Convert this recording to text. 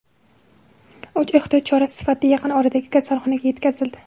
U ehtiyot chorasi sifatida yaqin oradagi kasalxonaga yetkazildi.